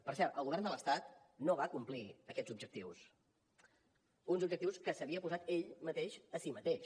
per cert el govern de l’estat no va complir aquests objectius uns objectius que s’havia posat ell mateix a si mateix